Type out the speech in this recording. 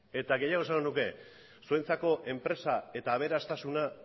eta gehiago esango nuke zuentzako enpresa eta aberastasuna